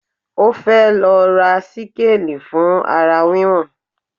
Ó fẹ́ lọ ra síkáàli fún ara wíwọ̀n